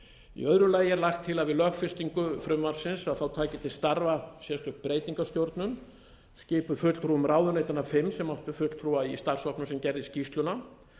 í öðru lagi er lagt til að við lögfestingu frumvarpsins taki til starfa sérstök breytingastjórnun skipuð fulltrúum ráðuneytanna fimm sem áttu fulltrúa í starfshópnum a gerði skýrsluna